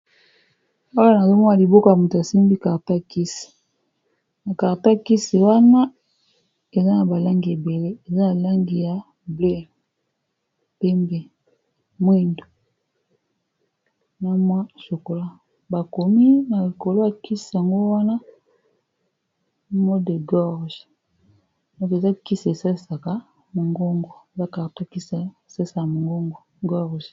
Awa, nazo mona liboko ya muto asimbi carton ya kisi. Carton ya kisi wana, eza na ba langi ebele. Eza na langi ya ble, pembe, mwindo, na mwa shokola. Ba komi na likolo ya kisi yango wana, maux de gorge. Eza kisi esalisaka mongongo. Eza carton ya kisi, esalîsaka mongongo, george.